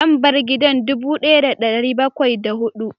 Lambar gidan dubu daya da dari bakwai da hudu